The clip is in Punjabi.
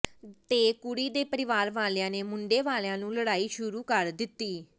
ਤੇ ਕੁੜੀ ਦੇ ਪਰਿਵਾਰ ਵਾਲਿਆਂ ਨੇ ਮੁੰਡੇ ਵਾਲਿਆਂ ਨਾਲ ਲੜਾਈ ਸ਼ੁਰੂ ਕਰ ਦਿੱਤੀ